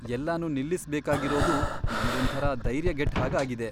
ಎಲ್ಲನೂ ನಿಲ್ಲಿಸ್ಬೇಕಾಗಿರೋದು ನಂಗೊಂಥರ ಧೈರ್ಯಗೆಟ್ಟ್ಹಾಗ್ ಆಗಿದೆ.